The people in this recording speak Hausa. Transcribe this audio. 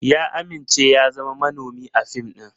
Ya amince ya zama manomi a fim ɗin.